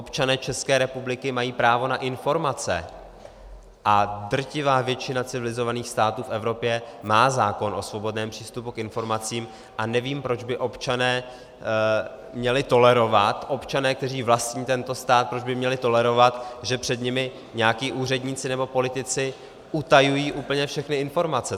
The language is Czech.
Občané České republiky mají právo na informace a drtivá většina civilizovaných států v Evropě má zákon o svobodném přístupu k informacím a nevím, proč by občané měli tolerovat, občané, kteří vlastní tento stát, proč by měli tolerovat, že před nimi nějací úředníci nebo politici utajují úplně všechny informace.